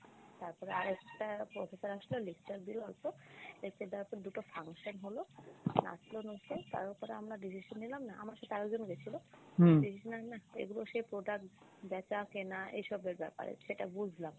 তারপরে আরেকটা professor আসলো lecture দিলো অল্প। lecture দেওয়ার পর দুটো function হল নাচল নুচল তার উপর আমরা decision নিলাম না আমার সাথে আরেকজন গেসিলো এগুলো সে product বেচা কেনা এসবের ব্যাপারে সেটা বুঝলাম।